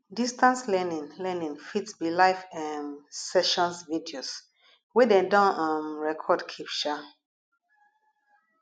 distance learning learning fit be live um sessions videos wey dem don um record keep um